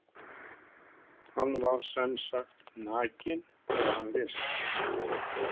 Hann var semsagt nakinn þegar hann lést?